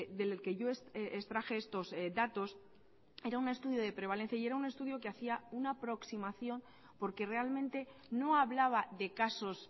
del que yo extraje estos datos era un estudio de prevalencia y era un estudio que hacía una aproximación porque realmente no hablaba de casos